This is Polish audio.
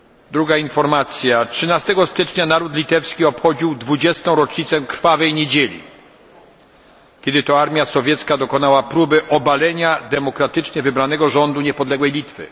Druga informacja dnia 13 stycznia naród litewski obchodził 20. rocznicę krwawej niedzieli, kiedy to armia sowiecka dokonała próby obalenia demokratycznie wybranego rządu niepodległej Litwy.